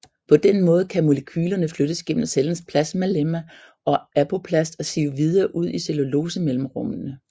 På den måde kan molekylerne flyttes gennem cellens plasmalemma og apoplast og sive videre ud i cellulosemellemrummene